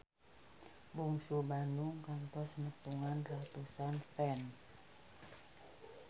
Bungsu Bandung kantos nepungan ratusan fans